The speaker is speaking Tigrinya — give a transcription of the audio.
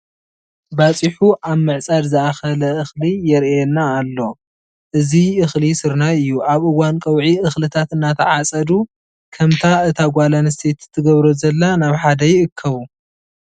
ባፂሑ ናብ ምዕፃድ ዝኣኸለ እኽሊ ይርአየና ኣሎ፡፡ እዚ እኽሊ ስርናይ እዩ፡፡ ኣብ እዋን ቀውዒ እኽልታት እናተዓፀዱ ከምቲ እታ ጓለ ኣነስተይቲ ትገብሮ ዘላ ናብ ሓደ ይእከቡ፡፡